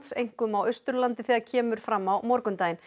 einkum á Austurlandi þegar kemur fram á morgundaginn